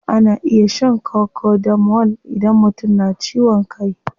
Ana iya shan cocodamol idan mutum na ciwon kai.